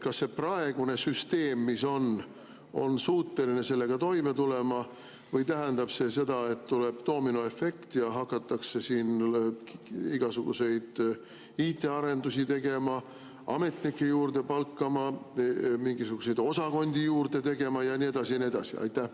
Kas praegune süsteem on suuteline sellega toime tulema või tähendab see seda, et tuleb doominoefekt ja hakatakse siin igasuguseid IT‑arendusi tegema, ametnikke juurde palkama, mingisuguseid osakondi juurde looma ja nii edasi ja nii edasi?